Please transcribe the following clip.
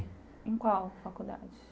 Em qual faculdade?